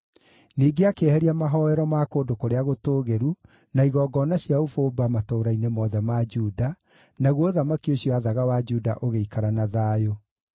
Ningĩ akĩeheria mahooero ma kũndũ kũrĩa gũtũũgĩru, na igongona cia ũbumba matũũra-inĩ mothe ma Juda, naguo ũthamaki ũcio aathaga wa Juda ũgĩikara na thayũ.